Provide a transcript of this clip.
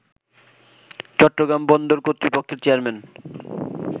চট্টগ্রাম বন্দর কর্তৃপক্ষের চেয়ারম্যান